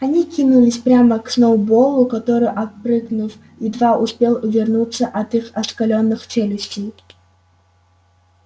они кинулись прямо к сноуболлу который отпрыгнув едва успел увернуться от их оскалённых челюстей